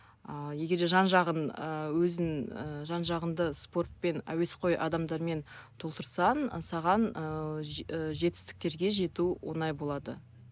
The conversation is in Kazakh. ыыы егер де жан жағын ыыы өзін ыыы жан жағыңды спортпен әуесқой адамдармен толтырсаң саған ы жетістіктерге жету оңай болады